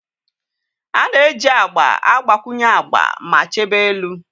A na-eji agba agbakwunye agba ma chebe elu.